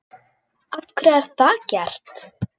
Af hverju er það gert?